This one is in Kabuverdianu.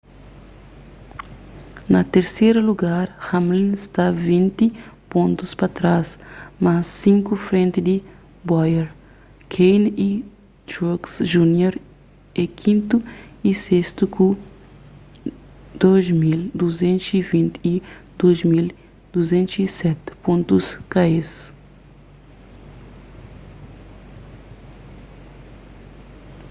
na terseru lugar hamlin sta vinti pontus pa trás mas sinku frenti di bowyer kahne y truex jr é kintu y sestu ku 2,220 y 2,207 pontus ka es